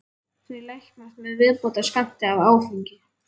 Þau læknast með viðbótarskammti af áfengi.